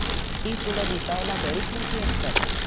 ही फुलं दिसायला बरीच मोठी असतात.